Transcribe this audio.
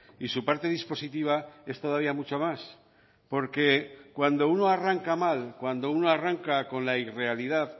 y su parte dispositiva es todavía mucho más porque cuando uno arranca mal cuando uno arranca con la irrealidad